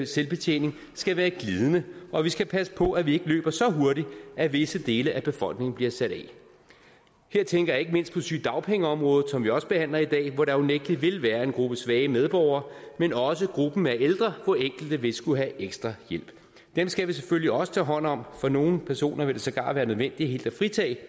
selvbetjening skal være glidende og vi skal passe på at vi ikke løber så hurtigt at visse dele af befolkningen bliver sat af her tænker jeg ikke mindst på sygedagpengeområdet som vi også behandler i dag hvor der unægtelig vil være en gruppe svage medborgere men også på gruppen af ældre hvor enkelte vil skulle have ekstra hjælp dem skal vi selvfølgelig også tager hånd om for nogle personer vil det sågar være nødvendigt helt at fritage